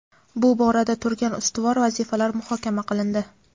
bu borada turgan ustuvor vazifalar muhokama qilindi.